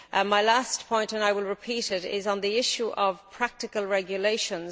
My last point and I will repeat it, is on the issue of practical regulations.